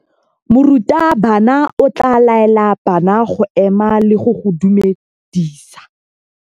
Morutabana o tla laela bana go ema le go go dumedisa.